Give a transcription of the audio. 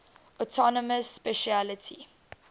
autonomous specialty